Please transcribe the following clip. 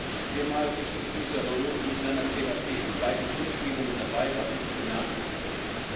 Dass Kemal Kılıçdaroğlu mit seiner CHP bei den Kundgebungen dabei war, ist bemerkenswert.